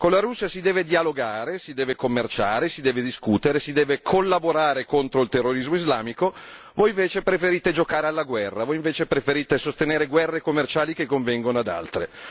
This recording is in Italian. Con la Russia si deve dialogare, si deve commerciare, si deve discutere, si deve collaborare contro il terrorismo islamico voi invece preferite giocare alla guerra, voi invece preferite sostenere guerre commerciali che convengono ad altri.